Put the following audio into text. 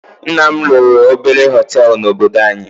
Nna m lụrụ obere hótelu na -obodo anyị.